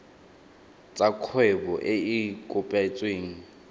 tsa kgwebo e e kopetsweng